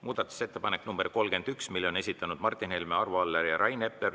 Muudatusettepaneku nr 31 on esitanud Martin Helme, Arvo Aller ja Rain Epler.